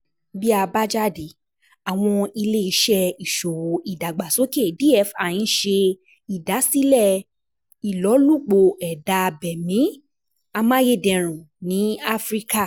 Bi abajade, Awọn Ile-iṣẹ Iṣowo Idagbasoke (DFI) n ṣe idasilẹ ilolupo eda abemi amayederun ni Afirika.